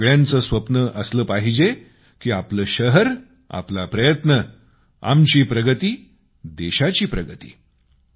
आणि आपल्या सगळ्यांचे स्वप्न असले पाहिजे की आपले शहर आपला प्रयत्न आमची प्रगतीदेशाची प्रगती